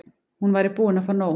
Hún væri búin að fá nóg.